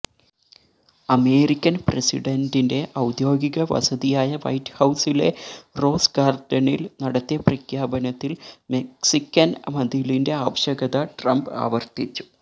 American പ്രസിഡന്റിന്റെ ഔദ്യോഗിക വസതിയായ വൈറ്റ് ഹൌസിലെ റോസ് ഗാര്ഡനില് നടത്തിയ പ്രഖ്യാപനത്തില് മെക്സിക്കന് മതിലിന്റെ ആവശ്യകത ട്രംപ് ആവര്ത്തിച്ചു